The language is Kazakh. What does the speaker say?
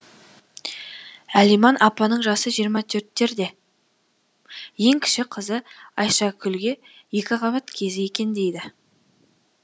әлиман апаның жасы жиырма төрттерде ең кіші қызы айшакүлге екіқабат кезі екен дейді